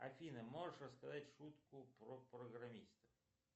афина можешь рассказать шутку про программиста